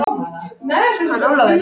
Hann Ólafur?